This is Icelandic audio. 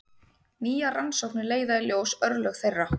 Nýjar rannsóknir leiða í ljós örlög þeirra.